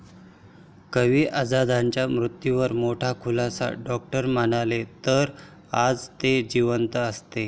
कवी आझादांच्या मृत्यूवर मोठा खुलासा, डॉक्टर म्हणाले '...तर आज ते जिवंत असते'